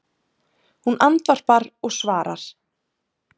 Hún andvarpar og svarar